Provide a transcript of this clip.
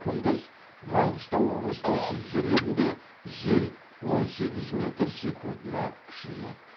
күндіз маңғыстау облысының кей жерлерінде жел он сегіз метр секундына күшейеді